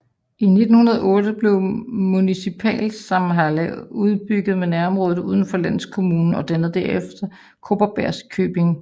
I 1908 blev municipalsamhälle udbygget med nærområdet udenfor landskommunen og dannede herefter Kopparbergs köping